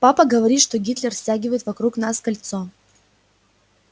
папа говорит что гитлер стягивает вокруг нас кольцо